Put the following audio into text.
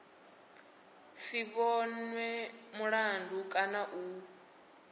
si vhonwe mulandu kana u